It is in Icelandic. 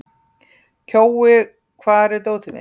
Kjói, hvar er dótið mitt?